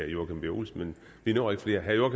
joachim b olsen men vi når ikke flere herre